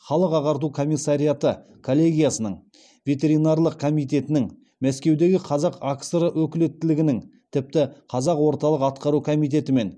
халық ағарту комиссариаты коллегиясының ветеринарлық комитетінің мәскеудегі қазақ акср өкілеттілігінің тіпті қазақ орталық атқару комитетімен